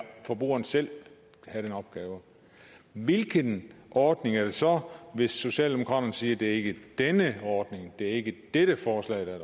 forbrugeren selv have den opgave hvilken ordning er det så hvis socialdemokraterne siger at det ikke er denne ordning det ikke er dette forslag der er